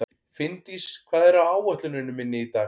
Finndís, hvað er á áætluninni minni í dag?